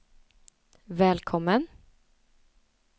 välkommen